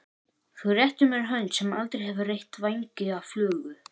Þú réttir mér hönd sem aldrei hefur reytt vængi af flugu.